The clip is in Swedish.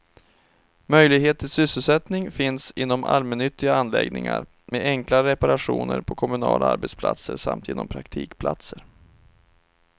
Möjlighet till sysselsättning finns inom allmännyttiga anläggningar, med enklare reparationer på kommunala arbetsplatser samt genom praktikplatser.